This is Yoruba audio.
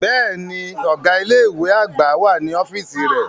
Bẹ́ẹ̀ni, ọga ile-iwe agba wa ni ọfiisi rẹ.